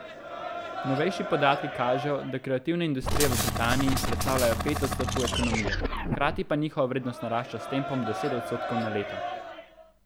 Novejši podatki kažejo, da kreativne industrije v Britaniji predstavljajo pet odstotkov ekonomije, hkrati pa njihova vrednost narašča s tempom deset odstotkov na leto.